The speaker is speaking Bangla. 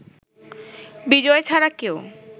বিজয় ছাড়া কেউ